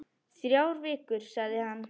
Þrjár vikur, sagði hann.